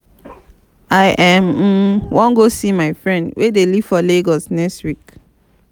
i um wan go see my friend wey dey live for lagos next week